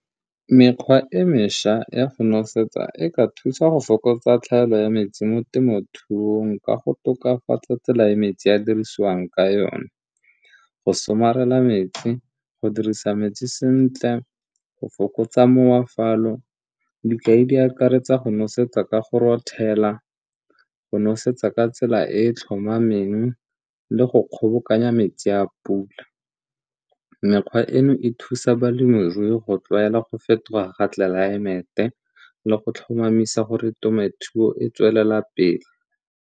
Mekgwa e mešwa ya go nosetsa e ka thusa go fokotsa tlhaelo ya metsi mo temothuong ka go tokafatsa tsela e metsi a dirisiwang ka yone, go somarela metsi, go dirisa metsi sentle, go fokotsa . Dikai di akaretsa go nosetsa ka go rothela, go nosetsa ka tsela e e tlhomameng le go kgobokanya metsi a pula. Mekgwa eno e thusa balemirui go tlwaela go fetoga ga tlelaemete le go tlhomamisa gore temothuo e tswelela pele.